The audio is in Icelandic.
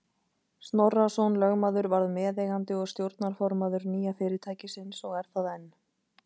Snorrason lögmaður varð meðeigandi og stjórnarformaður nýja fyrirtækisins og er það enn.